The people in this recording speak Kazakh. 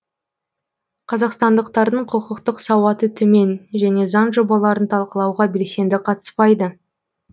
қазақстандықтардың құқықтық сауаты төмен және заң жобаларын талқылауға белсенді қатыспайды